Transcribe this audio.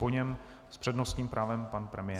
Po něm s přednostním právem pan premiér.